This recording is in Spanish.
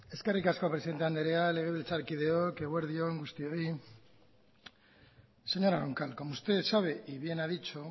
eskerrik asko presidente andrea legebiltzarkideok eguerdi on guztioi señora roncal como usted sabe y bien a dicho